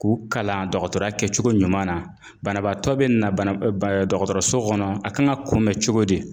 K'u kalan dɔgɔtɔrɔya kɛcogo ɲuman na. Banabaatɔ bɛ na dɔgɔtɔrɔso kɔnɔ a kan ka kunbɛn cogo di?